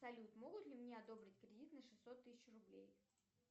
салют могут ли мне одобрить кредит на шестьсот тысяч рублей